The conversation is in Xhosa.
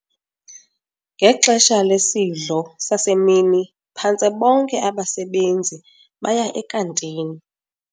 Ngexesha lesidlo sasemini phantse bonke abasebenzi baya ekantini.